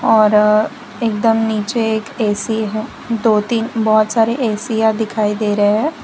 और एकदम नीचे एक ए_सी है दो तीन बहुत सारे एशिया दिखाई दे रहे हैं।